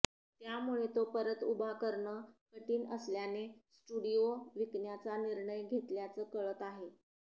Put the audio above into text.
त्यामुळे तो परत उभा करणं कठीण असल्याने स्टुडिओ विकण्याचा निर्णय घेतल्याचं कळतं आहे